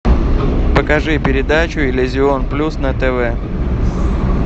покажи передачу иллюзион плюс на тв